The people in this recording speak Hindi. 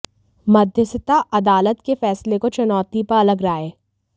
मध्यस्थता अदालत के फैसले को चुनौती पर अलग राय